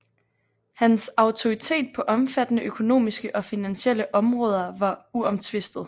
Hans autoritet på omfattende økonomiske og finansielle områder var uomtvistet